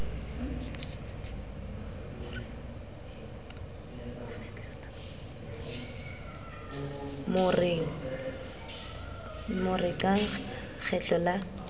mo re qa kgetlo la